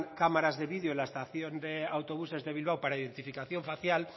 cámaras de vídeo en la estación de autobuses de bilbao para identificación facial